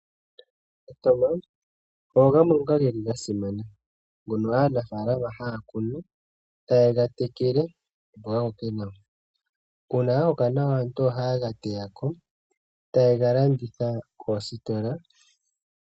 Omatama ogo gamwe ngoka geli gasimana, ngono aanafalama haakunu taye gatekele noga koke nawa, uuna gakoka nawa aantu ohaye gateyako taye galanditha koositola.